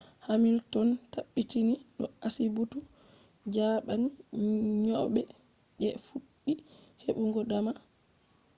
hamilton tabbitini do asibitu jaɓan nyauɓe je fuɗɗi heɓugo dama